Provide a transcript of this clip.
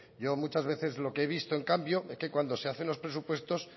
yo muchas veces lo que he visto en cambio es que cuando se hacen los presupuestos